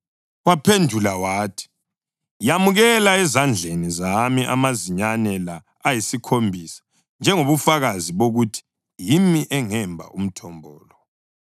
Waphendula wathi, “Yamukela ezandleni zami amazinyane la ayisikhombisa njengobufakazi bokuthi yimi engemba umthombo lo.”